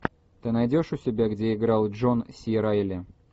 ты найдешь у себя где играл джон си райли